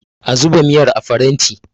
a zuba miyar a faranti!